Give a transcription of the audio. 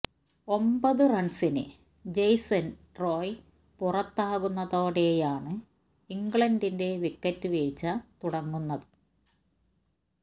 ഒമ്പത് റണ്സിന് Jason Roy പുറത്താകുന്നതോടെയാണ് ഇംഗ്ലണ്ടിന്റെ വിക്കറ്റ് വീഴ്ച തുടങ്ങുന്ത്